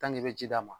i bɛ ji d'a ma